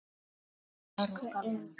Elsku Inga.